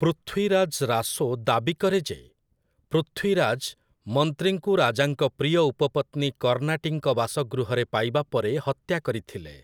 ପୃଥ୍ୱୀରାଜ୍ ରାସୋ' ଦାବି କରେ ଯେ, ପୃଥ୍ୱୀରାଜ୍ ମନ୍ତ୍ରୀଙ୍କୁ ରାଜାଙ୍କ ପ୍ରିୟ ଉପପତ୍ନୀ କର୍ଣ୍ଣାଟୀଙ୍କ ବାସଗୃହରେ ପାଇବା ପରେ ହତ୍ୟା କରିଥିଲେ ।